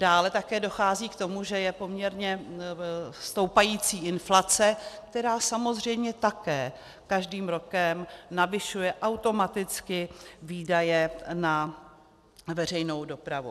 Dále také dochází k tomu, že je poměrně stoupající inflace, která samozřejmě také každým rokem navyšuje automaticky výdaje na veřejnou dopravu.